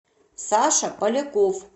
саша поляков